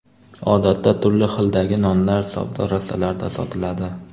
Odatda turli xildagi nonlar savdo rastalarida sotiladi.